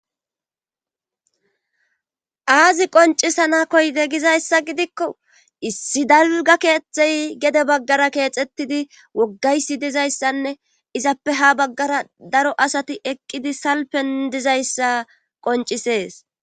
Hayzi qoncisana koyte gizayssa gidikko issi dalga keexthey gede baggara keexettidi woggaysi dizayssanne izappe ha baggara daro asati eqqidi salpen dizayssa qoncisees.